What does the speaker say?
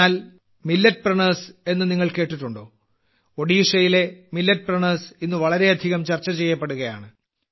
എന്നാൽ മില്ലറ്റ്പ്രണ്യൂർസ് എന്ന് നിങ്ങൾ കേട്ടിട്ടുണ്ടോ ഒഡീഷയിലെ മില്ലറ്റ്പ്രണ്യൂർസ് ഇന്ന് വളരെയധികം ചർച്ച ചെയ്യപ്പെടുകയാണ്